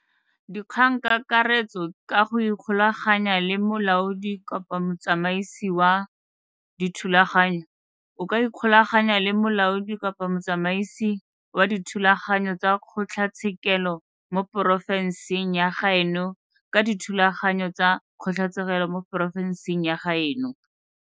DIKGANGKAKARETSO ka go ikgolaganya le Molaodi-Motsamaisi wa Dithulaganyo o ka ikgolaganya le Molaodi-Motsamaisi wa Dithulaganyo tsa Kgotlatshekelo mo porofenseng ya gaeno ka dithulaganyo tsa Kgotlatshekelo mo porofenseng ya gaeno.